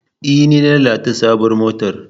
E, ni na lalata sabuwar motar.